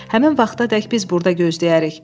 Həmin vaxtadək biz burda gözləyərik.